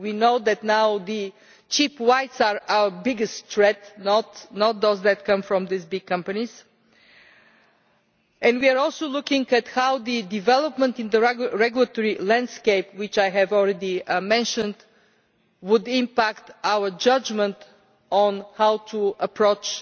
We know that the cheap whites are our biggest threat now, not those that come from these big companies, and we are also looking at how the development in the regulatory landscape which I have already mentioned would impact our judgement on how to approach